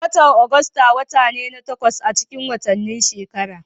Watan Agusta wata ne na takwas acikin watanni shekara.